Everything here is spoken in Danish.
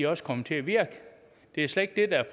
også kommer til at virke det er slet ikke